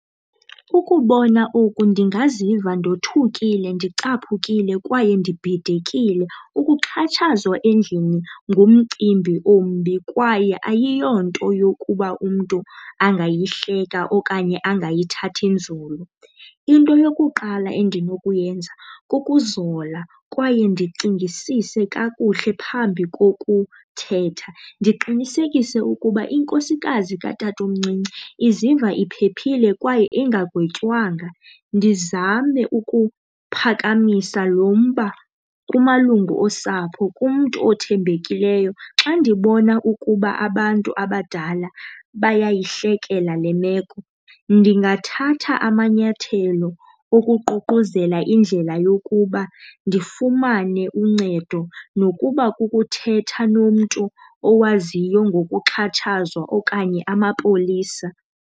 Ukubona oku ndingaziva ndothukile, ndicaphukile kwaye nibhidekile. Ukuxhatshazwa endlini ngumcimbi ombi kwaye ayiyonto yokuba umntu angayihleka okanye angayithathi nzulu. Into yokuqala endinokuyenza kukuzola kwaye ndicingisise kakuhle phambi kokuthetha, ndiqinisekise ukuba inkosikazi katatomncinci iziva iphephile kwaye ingagwetywanga. Ndizame ukuphakamisa lo mba kumalungu osapho kumntu othembekileyo. Xa ndibona ukuba abantu abadala bayayihlekela le meko, ndingathatha amanyathelo okuququzelela indlela yokuba ndifumane uncedo nokuba kukuthetha nomntu owaziyo ngokuxhatshazwa okanye amapolisa.